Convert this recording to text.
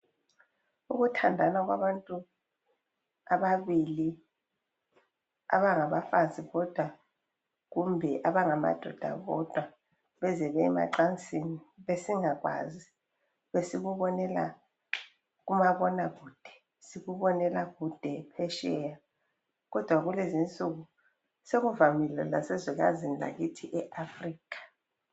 Ukuthandana kwabantu ababili abangabafazi bodwa kumbe abangamadoda wodwa beze bey' emacansini, besingakwazi, besikubonela kumabona kude, sikubonela kude, phetsheya. Kodwa kulezinsuku sekuvamile lasezwekazini lakithi eAfurikha.